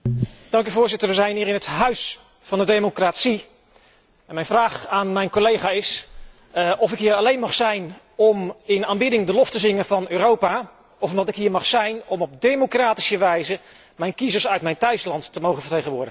Voorzitter, we zijn hier in het Huis van de democratie en mijn vraag aan mijn collega is of ik hier alleen mag zijn om in aanbidding de lof te zingen van Europa, of dat ik hier mag zijn om op democratische wijze de kiezers uit mijn thuisland te mogen vertegenwoordigen.